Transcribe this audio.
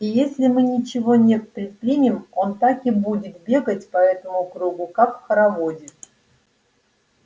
и если мы ничего не предпримем он так и будет бегать по этому кругу как в хороводе